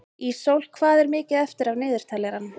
Ísól, hvað er mikið eftir af niðurteljaranum?